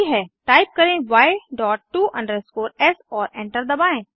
type करें य dot to s और एंटर दबाएं